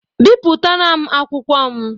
Bipụtara m akwụkwọ m!